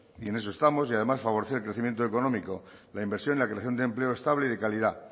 y en eso estamos y además favorecer el crecimiento económico la inversión la creación de empleo estable y de calidad